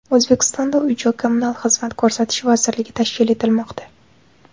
O‘zbekistonda Uy-joy kommunal xizmat ko‘rsatish vazirligi tashkil etilmoqda.